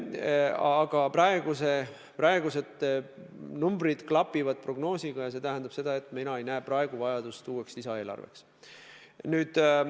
Aga praegused numbrid klapivad prognoosiga ja see tähendab seda, et mina ei näe täna uue lisaeelarve vajadust.